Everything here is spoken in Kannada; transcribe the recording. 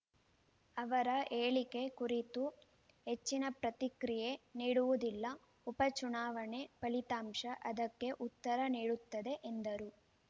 ಅವರ ಹೇಳಿಕೆ ಕುರಿತು ಹೆಚ್ಚಿನ ಪ್ರತಿಕ್ರಿಯೆ ನೀಡುವುದಿಲ್ಲ ಉಪ ಚುನಾವಣೆ ಫಲಿತಾಂಶ ಅದಕ್ಕೆ ಉತ್ತರ ನೀಡುತ್ತದೆ ಎಂದರು